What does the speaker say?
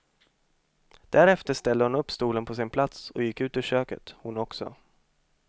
Därefter ställde hon upp stolen på sin plats och gick ut ur köket, hon också.